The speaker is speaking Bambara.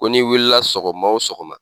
Ko n'i wili sɔgɔma o sɔgɔma